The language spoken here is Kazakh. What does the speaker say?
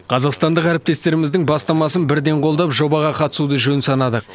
қазақстандық әріптестеріміздің бастамасын бірден қолдап жобаға қатысуды жөн санадық